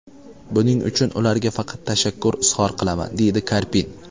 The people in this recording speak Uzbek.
Buning uchun ularga faqat tashakkur izhor qilaman”, deydi Karpin.